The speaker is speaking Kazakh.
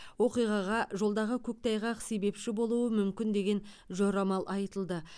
оқиғаға жолдағы көктайғақ себепші болуы мүмкін деген жорамал айтылды